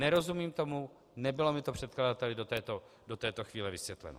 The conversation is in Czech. Nerozumím tomu, nebylo mi to předkladateli do této chvíle vysvětleno.